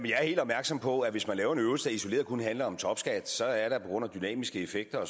jeg er helt opmærksom på at hvis man laver en øvelse der isoleret handler om topskat så er der på grund af dynamiske effekter og